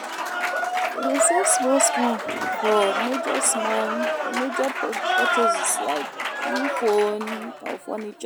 I dey save small small for major small for major purchases like new phone or furniture.